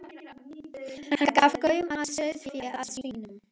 Hann gaf gaum að sauðfé, að svínum.